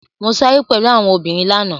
Mo sáré pẹ̀lú àwọn obìnrin lánàá.